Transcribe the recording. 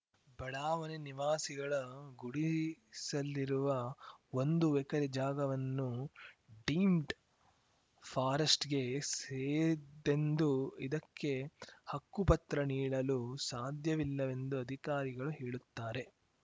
ಬಡಾವಣೆ ನಿವಾಸಿಗಳ ಗುಡಿಸಲಿರುವ ಒಂದು ಎಕರೆ ಜಾಗವನ್ನು ಡೀಮ್ಡ್ ಫಾರೆಸ್ಟ್‌ಗೆ ಸೇರಿದ್ದೆಂದು ಇದಕ್ಕೆ ಹಕ್ಕುಪತ್ರ ನೀಡಲು ಸಾಧ್ಯವಿಲ್ಲವೆಂದು ಅಧಿಕಾರಿಗಳು ಹೇಳುತ್ತಾರೆ